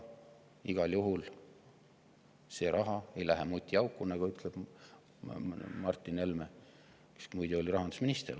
Igal juhul ei lähe see raha mutiauku, nagu ütles Martin Helme, kes oli muide rahandusminister.